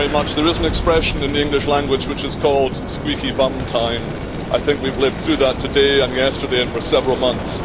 There is an expression in the English language, which is called squeaky bum time'. I think we have lived through that today and yesterday and for several months.